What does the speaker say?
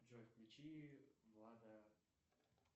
джой включи влада